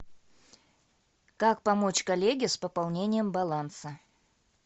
как помочь коллеге с пополнением баланса